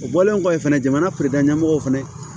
O bɔlen kɔfɛ fɛnɛ jamana ɲɛmɔgɔw fana